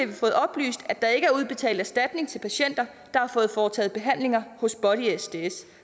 vi fået oplyst at der ikke er udbetalt erstatning til patienter der har fået foretaget behandlinger hos body sds